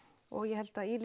og ég held að í